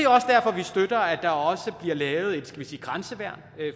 er også der bliver lavet et skal vi sige grænseværn